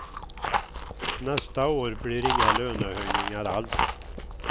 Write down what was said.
Nästa år blir det inga lönehöjningar alls.